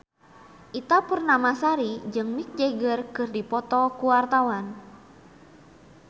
Ita Purnamasari jeung Mick Jagger keur dipoto ku wartawan